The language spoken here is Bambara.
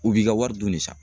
U b'i ka wari dunni san.